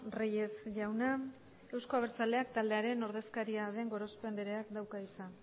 reyes jauna euzko abertzaleak taldearen ordezkaria den gorospe andreak dauka hitza